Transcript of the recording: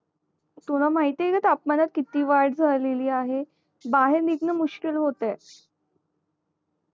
तुला महती आहे का तापमानात किती वाड झाली आहे बाहेर निघणं मुश्किल